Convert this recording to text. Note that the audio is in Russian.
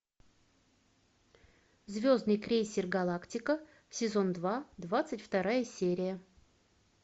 звездный крейсер галактика сезон два двадцать вторая серия